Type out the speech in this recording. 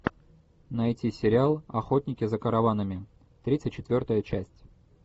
найти сериал охотники за караванами тридцать четвертая часть